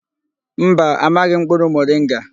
Mba, amaghị m mkpụrụ moringa.